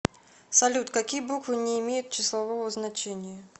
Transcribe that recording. салют какие буквы не имеют числового значения